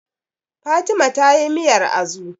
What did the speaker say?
Fatima ta yi miyar Azu